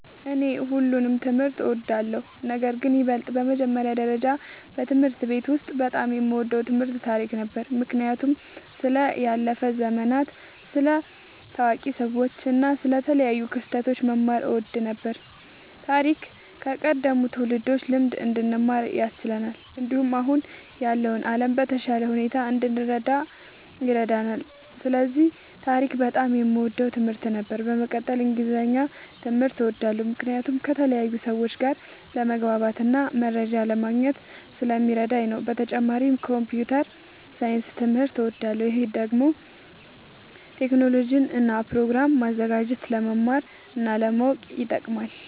እኔ ሁሉንም ትምህርት እወዳለሁ፤ ነገርግን በይበልጥ በመጀመሪያ ደረጃ በትምህርት ቤት ውስጥ በጣም የምወደው ትምህርት ታሪክ ነበር። ምክንያቱም ስለ ያለፉ ዘመናት፣ ስለ ታዋቂ ሰዎች እና ስለ ተለያዩ ክስተቶች መማር እወድ ነበር። ታሪክ ከቀደሙት ትውልዶች ልምድ እንድንማር ያስችለናል፣ እንዲሁም አሁን ያለውን ዓለም በተሻለ ሁኔታ እንድንረዳ ይረዳናል። ስለዚህ ታሪክ በጣም የምወደው ትምህርት ነበር። በመቀጠልም እንግሊዝኛ ትምህርት እወዳለሁ ምክንያቱም ከተለያዩ ሰዎች ጋር ለመግባባትና መረጃ ለማግኘት ስለሚረዳኝ ነዉ። በተጨማሪም ኮምፒዉተር ሳይንስ ትምህርትም እወዳለሁ። ይህ ደግሞ ቴክኖሎጂን እና ፕሮግራም ማዘጋጀትን ለመማር እና ለማወቅ ይጠቅማል።